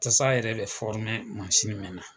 Tasa yɛrɛ bɛ mɛn na.